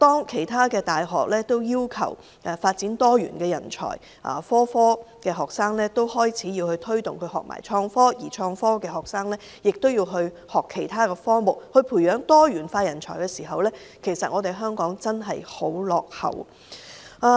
其他大學着重培育多元人才，推動所有學生學習創科，而創科學生也要學習其他科目，以培養多元人才時，但香港還是很落後。